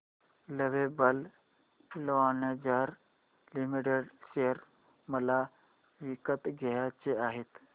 lovable lingerie limited share मला विकत घ्यायचे आहेत